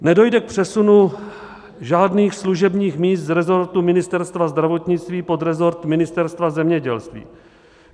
Nedojde k přesunu žádných služebních míst z resortu Ministerstva zdravotnictví pod resort Ministerstva zemědělství.